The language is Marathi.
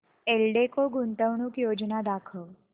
एल्डेको गुंतवणूक योजना दाखव